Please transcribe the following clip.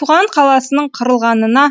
туған қаласының құрылғанына